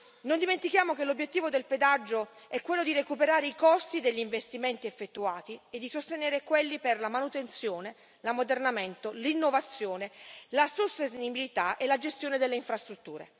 Non dimentichiamo che l'obiettivo del pedaggio è quello di recuperare i costi degli investimenti effettuati e di sostenere quelli per la manutenzione, l'ammodernamento, l'innovazione, la sostenibilità e la gestione delle infrastrutture.